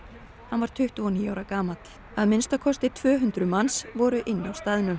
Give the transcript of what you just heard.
hann var tuttugu og níu ára gamall að minnsta kosti tvö hundruð manns voru inni á staðnum